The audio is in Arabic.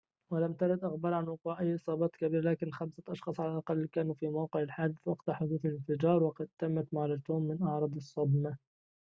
ولم ترد أخبار عن وقوع أي إصابات كبيرة لكن خمسة أشخاص على الأقل كانوا في موقع الحادث وقت حدوث الانفجار وقد تمت معالجتهم من أعراض الصدمة